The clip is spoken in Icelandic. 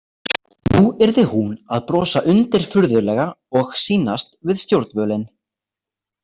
Nú yrði hún að brosa undirfurðulega og sýnast við stjórnvölinn.